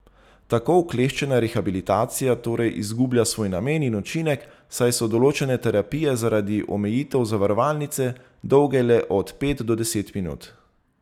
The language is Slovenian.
Tako okleščena rehabilitacija torej izgublja svoj namen in učinek, saj so določene terapije zaradi omejitev zavarovalnice dolge le od pet do deset minut!